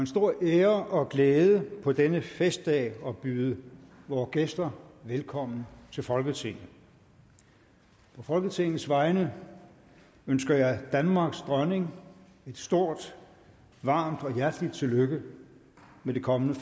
stor ære og glæde på denne festdag at byde vore gæster velkommen til folketinget på folketingets vegne ønsker jeg danmarks dronning et stort varmt og hjerteligt tillykke med det kommende